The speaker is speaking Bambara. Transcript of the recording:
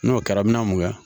N'o kɛra n mɛna mun kɛ